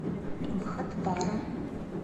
бхатпара